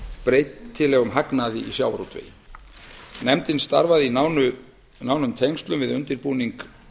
breytilegum hagnaði í sjávarútvegi nefndin starfaði í nánum tengslum við undirbúning